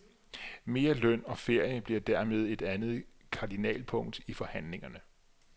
Mere løn og ferie bliver dermed et andet kardinalpunkt i forhandlingerne.